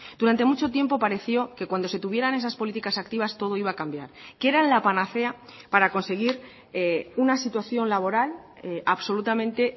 durante mucho tiempo pareció que cuando se tuvieran esas políticas activas todo iba a cambiar que eran la panacea para conseguir una situación laboral absolutamente